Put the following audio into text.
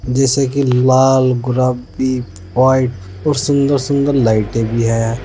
जैसे कि लाल गुलाबी व्हाइट और सुंदर सुंदर लाइटे भी हैं।